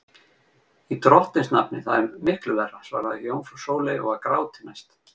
Í drottins nafni, það er miklu verra, svaraði jómfrú Sóley og var gráti næst.